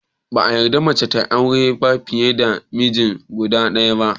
Ba a yarda mace ta auri fiye da miji guda ɗaya ba